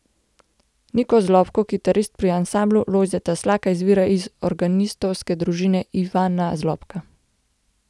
Niko Zlobko, kitarist pri ansamblu Lojzeta Slaka, izvira iz organistovske družine Ivana Zlobka.